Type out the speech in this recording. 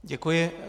Děkuji.